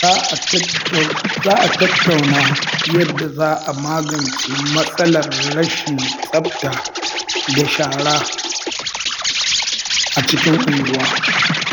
Za a tattauna yadda za a magance matsalar rashin tsafta da shara a cikin unguwa.